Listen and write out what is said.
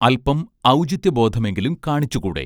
അൽപം ഔചിത്യബോധമെങ്കിലും കാണിച്ചുകൂടെ